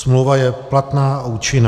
Smlouva je platná a účinná.